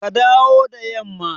Ka dawo da yamma!